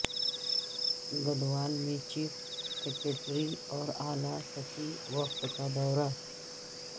گدوال میں chief secretary اور اعلی سطحی وفد کا دورہ